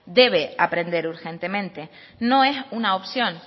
debe aprender urgentemente no es una opción